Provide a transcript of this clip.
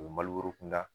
O ye maliburu kunda